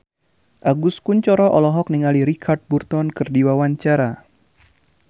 Agus Kuncoro olohok ningali Richard Burton keur diwawancara